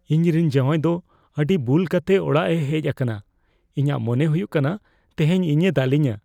ᱤᱧᱨᱮᱱ ᱡᱟᱶᱟᱭ ᱫᱚ ᱟᱹᱰᱤ ᱵᱩᱞ ᱠᱟᱛᱮ ᱚᱲᱟᱜ ᱮ ᱦᱮᱪ ᱟᱠᱟᱱᱟ ᱾ ᱤᱧᱟᱹᱜ ᱢᱚᱱᱮ ᱦᱩᱭᱩᱜ ᱠᱟᱱᱟ ᱛᱮᱦᱮᱧ ᱤᱧ ᱮ ᱫᱟᱞᱮᱧᱟ ᱾